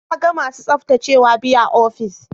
Na ga masu tsaftacewa biyu a ofis.